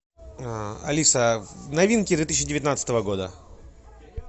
алиса новинки две тысячи девятнадцатого года